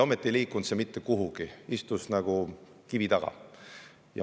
Ometi ei liikunud see idee mitte kuhugi, istus nagu kivi taga.